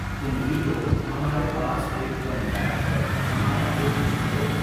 تم بھی تو ہمارے پاس ایک دم بیٹھ کر ہمارا دل خوش کرو۔